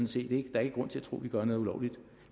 set ikke er grund til at tro at vi gør noget ulovligt